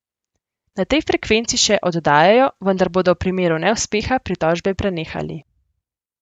Na tej frekvenci še oddajajo, vendar bodo v primeru neuspeha pritožbe prenehali.